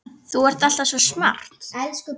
Þú ert alltaf svo smart.